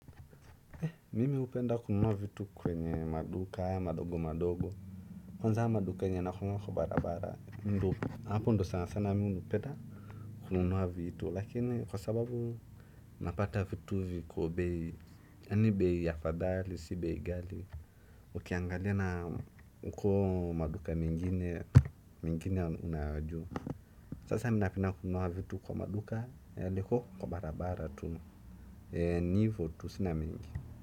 Eh mimi upenda kununua vitu kwenye maduka madogo madogo kwanza maduka yenye inakuwa kwa barabara hapo ndio sana mimi hupenda kununua vitu lakini kwa sababu napata vitu viko bei yaani bei afadhali si bei ghali ukiangalia na huko maduka mengine, mengine yako juu sasa napenda kununua kwa maduka liko kwa barabara tu ni hivo tu sina mengi.